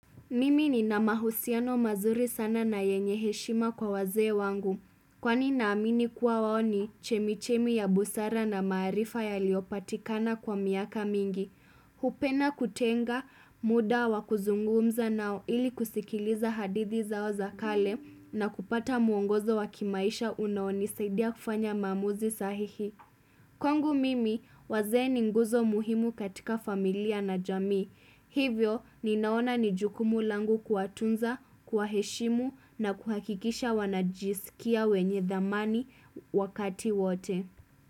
Mimi ni na mahusiano mazuri sana na yenyeheshima kwa waze wangu. Kwani na amini kuwa waoni chemichemi ya busara na maarifa ya liopatikana kwa miaka mingi. Hupenda kutenga muda wa kuzungumza nao ili kusikiliza hadidhi zao za kale na kupata muongozo wa kimaisha unaoni saidia kufanya mamuzi sahihi. Kwangu mimi wazeeni nguzo muhimu katika familia na jami. Hivyo ninaona nijukumu langu kuwatunza, kuwa heshimu na kuhakikisha wanajisikia wenye thamani wakati wote.